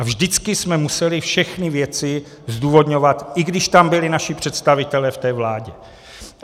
A vždycky jsme museli všechny věci zdůvodňovat, i když tam byli naši představitelé v té vládě.